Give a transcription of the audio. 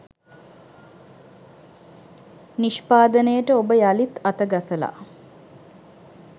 නිෂ්පාදනයට ඔබ යළිත් අතගසලා.